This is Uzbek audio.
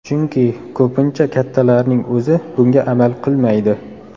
Chunki ko‘pincha kattalarning o‘zi bunga amal qilmaydi.